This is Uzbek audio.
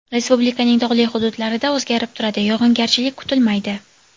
Respublikaning tog‘li hududlarida o‘zgarib turadi, yog‘ingarchilik kutilmaydi.